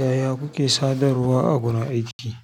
Yaya kuke sadarwa a gurin aiki?